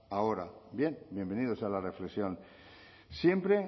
ahora bien bienvenidos a la reflexión siempre